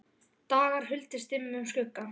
dagur huldist dimmum skugga